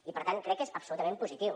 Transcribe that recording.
i per tant crec que és absolutament positiu